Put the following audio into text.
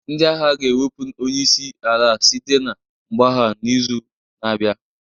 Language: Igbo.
Ndị agha ga-ewepụ onye isi ala site na mgbagha n'izu na-abịa